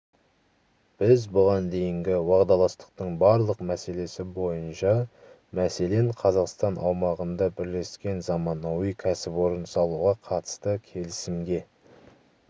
біз бұған дейінгі уағдаластықтың барлық мәселесі бойынша мәселен қазақстан аумағында бірлескен заманауи кәсіпорын салуға қатысты келісімге